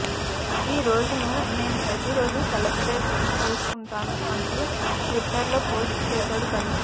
ఈరోజును నేను ప్రతిరోజు సెలబ్రేట్ చేసుకుంటాను అంటూ ట్విట్టర్ లో పోస్ట్ చేశాడు బన్నీ